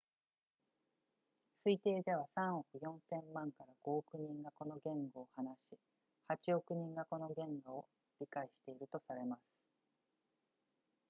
推定では3億4千万 ～5 億人がこの言語を話し8億人がこの言語を理解しているとされます